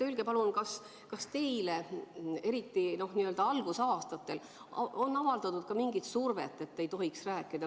Öelge, palun, kas teile, eriti n-ö algusaastatel on avaldatud ka mingit survet, et ei tohiks rääkida.